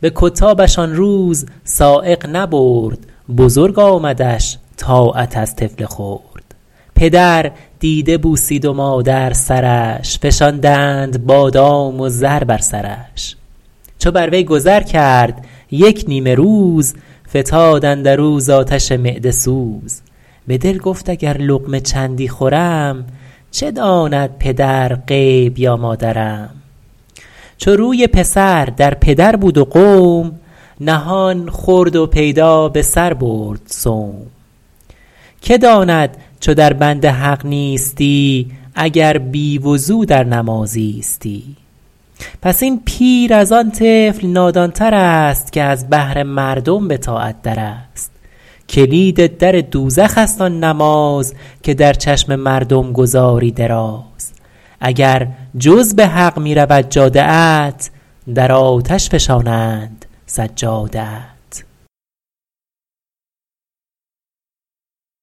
به کتابش آن روز سایق نبرد بزرگ آمدش طاعت از طفل خرد پدر دیده بوسید و مادر سرش فشاندند بادام و زر بر سرش چو بر وی گذر کرد یک نیمه روز فتاد اندر او ز آتش معده سوز به دل گفت اگر لقمه چندی خورم چه داند پدر غیب یا مادرم چو روی پسر در پدر بود و قوم نهان خورد و پیدا به سر برد صوم که داند چو در بند حق نیستی اگر بی وضو در نماز ایستی پس این پیر از آن طفل نادان تر است که از بهر مردم به طاعت در است کلید در دوزخ است آن نماز که در چشم مردم گزاری دراز اگر جز به حق می رود جاده ات در آتش فشانند سجاده ات